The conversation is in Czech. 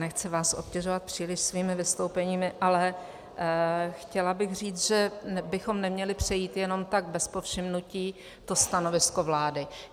Nechci vás obtěžovat příliš svými vystoupeními, ale chtěla bych říct, že bychom neměli přejít jenom tak bez povšimnutí to stanovisko vlády.